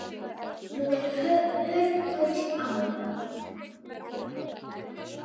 Nú er hörgull á